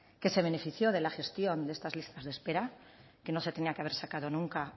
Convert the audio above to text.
que se benefició de la gestión de estas listas de espera que no se tenía que haber sacado nunca